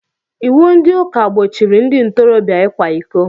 Iwu ndị ụka gbochiri ndị ntoroobịa ịkwa ịkọ